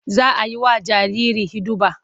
Za a yi wa jariri hiɗuba.